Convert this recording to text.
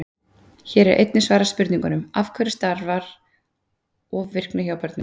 Hér er einnig svarað spurningunum: Af hverju stafar ofvirkni í börnum?